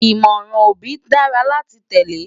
Ìmọ̀ràn òbí dára láti tẹ́lé